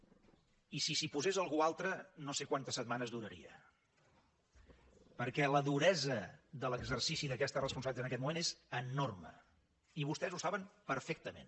i si s’hi posés algú altre no sé quantes setmanes duraria perquè la duresa de l’exercici d’aquestes responsabilitats en aquest moment és enorme i vostès ho saben perfectament